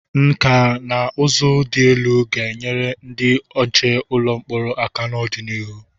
Nkà na ụzụ dị elu ga-enyere ndị nche ụlọ mkpọrọ aka n'ọdịnihu.